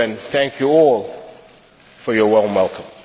thank you all for your warm welcome.